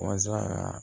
Walasa kaa